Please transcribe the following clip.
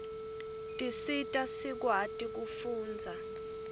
tisita sikwati kufundza